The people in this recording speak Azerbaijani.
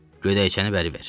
Gödəkçəni bəri ver.